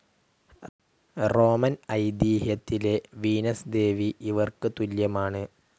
Roman ഐതീഹ്യത്തിലെ Venus ദേവി ഇവർക്ക് തുല്യമാണ്.